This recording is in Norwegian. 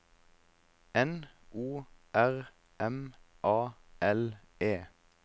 N O R M A L E